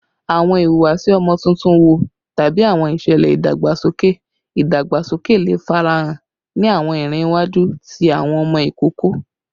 Awọn ihuwasi ọmọ tuntun wo tabi awọn iṣẹlẹ idagbasoke idagbasoke le farahan ni awọn iran iwaju ti awọn ọmọ ikoko?